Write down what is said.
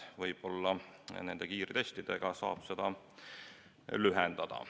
Võib-olla nende kiirtestidega saab seda lühendada.